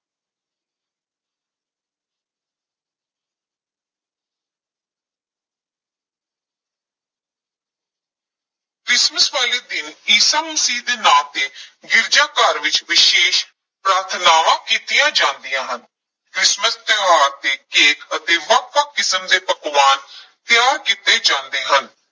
Christmas ਵਾਲੇ ਦਿਨ ਈਸਾ ਮਸੀਹ ਦੇ ਨਾਂ ਤੇ ਗਿਰਜਾ ਘਰ ਵਿੱਚ ਵਿਸ਼ੇਸ਼ ਪ੍ਰਾਰਥਨਾਵਾਂ ਕੀਤੀਆਂ ਜਾਂਦੀਆਂ ਹਨ, ਕ੍ਰਿਸਮਸ ਤਿਉਹਾਰ ਤੇ ਕੇਕ ਅਤੇ ਵੱਖ-ਵੱਖ ਕਿਸਮ ਦੇ ਪਕਵਾਨ ਤਿਆਰ ਕੀਤੇ ਜਾਂਦੇ ਹਨ।